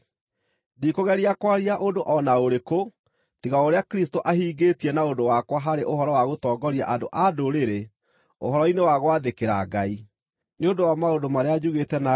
Ndikũgeria kwaria ũndũ o na ũrĩkũ tiga o ũrĩa Kristũ ahingĩtie na ũndũ wakwa harĩ ũhoro wa gũtongoria andũ-a-Ndũrĩrĩ ũhoro-inĩ wa gwathĩkĩra Ngai, nĩ ũndũ wakwa kũheana ũhoro na maũndũ marĩa mekirwo,